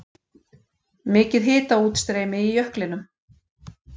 Mikið hitaútstreymi í jöklinum